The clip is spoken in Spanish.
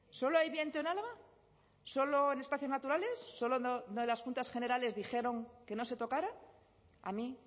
solo hay viento en álava solo en espacios naturales solo donde las juntas generales dijeron que no se tocara a mí